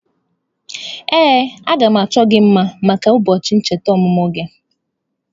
Ee, a ga m achọ gị mma maka ụbọọchị icheta ọmụmụ gị.